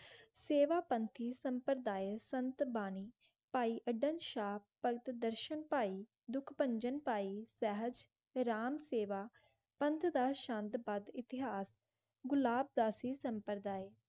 सेवा समठाईस सम्प्ती संतबानी दुखपंचान पाइए राम सैवा इंकिता शांतपत गुलाब .